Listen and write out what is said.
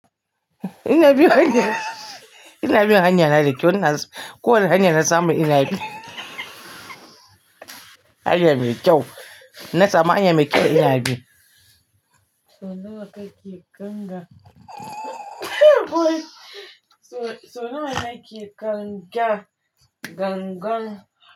Ina biyo kan hanya, ina biyu hanya na dake cionana. Ko wane hanya na samu ina bi. Hanya mai kyau. Na samu hanya mai kyau ina bi. Sau nawa kake kanga? Sau nawa nake kanga? Gangan.